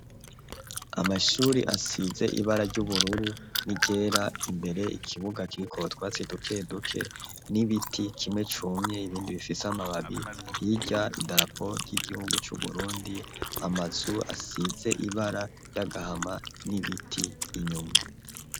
Amashuri asize ibara ry'ubururu ni rera imbere ikibuga kiriko twatsi dukeduke n'ibiti kimwe cumye ibindi bifise amababi hirya i daraporo ry'igihugu c'uburundi amazu asize ibara ry'agahama n'ibiti inyuma.